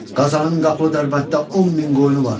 Qazanın Qapılı Dərbənddə 10 min qoyunu var.